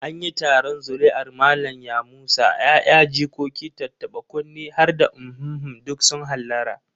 An yi taron zuri'ar Malam Yamusa, 'ya'ya, jikoki, tattaɓa-kunne har da uhumhum duk sun hallara.